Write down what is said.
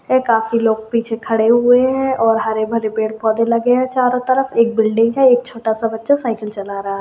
ये काफी लोग पीछे खड़े हुआ है और हरे भरे पेड़ पौधे लगे हुआ है चारों तरफ एक बिल्डिंग है एक छोटा सा बचा साइकिल चला रहा है।